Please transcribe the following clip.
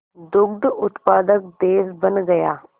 दुग्ध उत्पादक देश बन गया